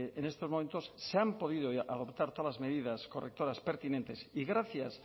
en estos momentos se han podido adoptar todas las medidas correctoras pertinentes y gracias